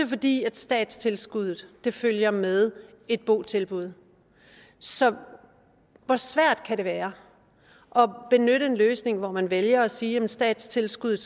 fordi statstilskuddet følger med et botilbud så hvor svært kan det være at benytte en løsning hvor man vælger at sige at statstilskuddet